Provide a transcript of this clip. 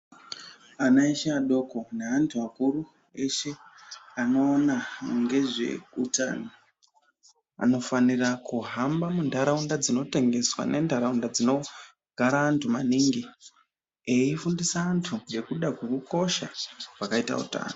Ana eshe adoko neantu akuru eshe anoona ngezveutano anofanira kuhamba muntaraunda dzinotengeswa nentaraunda dzinogara antu maningi eifundisa antu ngekuda kwekukosha kwakaita utano.